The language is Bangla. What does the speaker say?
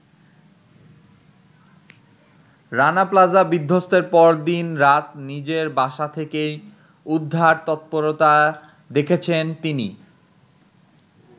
রানা প্লাজা বিধ্বস্তের পর দিন-রাত নিজের বাসা থেকেই উদ্ধার তৎপরতা দেখেছেন তিনি।